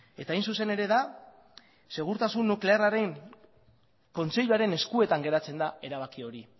eta hain zuzen ere da segurtasun nuklearraren kontseiluaren eskutan geratzen da erabaki hori